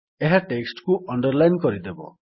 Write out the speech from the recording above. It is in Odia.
ଏହା ଟେକ୍ସଟ୍ କୁ ଅଣ୍ଡରଲାଇନ୍ କରିଦେବ